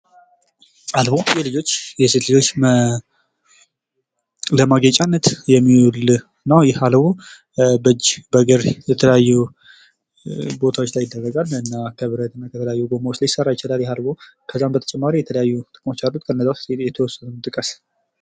አልቦ የልጆች የሴት ልጆች ለማጌጫነት የሚውል ነው። ይህ አልቦ በእጅ በእግር የተለያዩ ቦታዎች ላይ ይደረጋል እና ከብረትና ከተለያዩ ጎማዎች ሊሰራ ይችላል ይሄ አልቦ። ከዛም በተጨማሪ የተለያዩ ጥቅሞች አሉት ከነዛ ውስጥ የተወሰኑትን ጥቀስ።